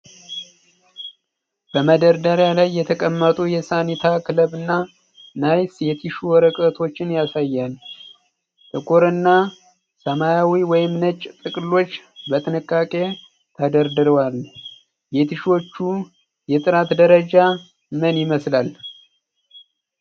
በመደርደሪያ ላይ የተቀመጡ የሳኒታ ክለብ እና ናይስ የቲሹ ወረቀቶችን ያሳያል። ጥቁር እና ሰማያዊ/ነጭ ጥቅሎች በጥንቃቄ ተደርድረዋል። የቲሹዎቹ የጥራት ደረጃ ምን ይመስላል?